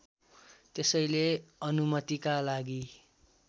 त्यसैले अनुमतिका लागि